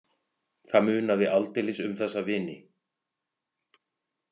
Það munaði aldeilis um þessa vini.